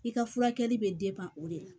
I ka furakɛli bɛ o de la